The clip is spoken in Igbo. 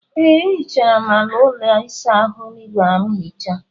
Ee, ehichara m ala ụlọ ịsa ahụ ịgwara m hichaa.